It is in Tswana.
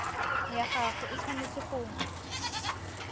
ya gago e tshwanetse go